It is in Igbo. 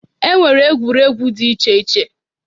E nwere egwuregwu dị iche iche.